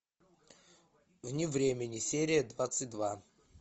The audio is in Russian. вне времени серия двадцать два